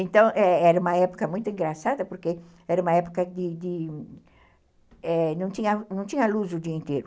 Então, era uma época muito engraçada porque era uma época de de... não tinha luz o dia inteiro.